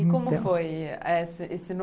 E como foi esse novo